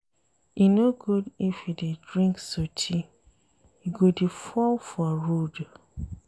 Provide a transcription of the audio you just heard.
E no good if you dey drink sotee you go dey fall for road.